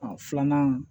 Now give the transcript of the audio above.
Ɔ filanan